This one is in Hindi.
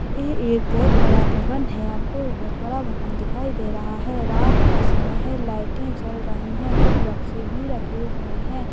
यह एक बहुत बड़ा भवन है यह आपको बहुत बड़ा भवन दिखाई दे रहा है रात का समय है लाइट जल रही हैं कुछ बक्से भी रखे हुए हैं।